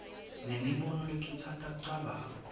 nemibono lekhutsata kucabanga